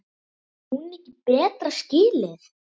Á hún ekki betra skilið?